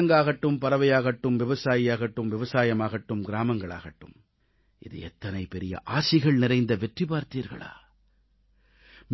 விலங்காகட்டும் பறவையாகட்டும் விவசாயியாகட்டும் விவசாயமாகட்டும் கிராமங்களாகட்டும் இது எத்தனை பெரிய ஆசிகள் நிறைந்த வெற்றி பார்த்தீர்களா